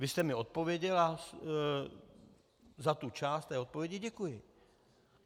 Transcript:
Vy jste mi odpověděl a za tu část té odpovědi děkuji.